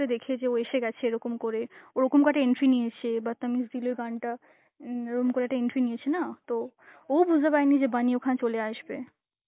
দেখে যে ও এসে গেছে এরকম করে, ওরকম করে entry নিয়েছে, Hindi এর গানটা, উম গরম করে একটা entry নিয়েছে না তো ওউ বুঝতে পারেনি যে bunny ওখানে চলে আসবে.